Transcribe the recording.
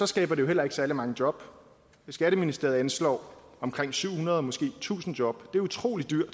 skaber det jo heller ikke særlig mange job skatteministeriet anslår omkring syv hundrede måske tusind job det er utrolig dyrt